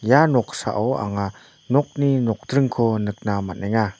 ia noksao anga nokni nokdringko nikna man·enga.